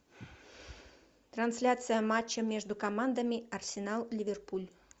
трансляция матча между командами арсенал ливерпуль